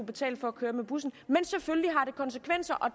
betale for at køre med bussen men selvfølgelig har det konsekvenser og